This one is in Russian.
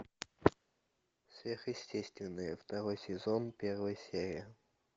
сверхъестественное второй сезон первая серия